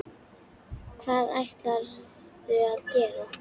Hvað ætlarðu að gera?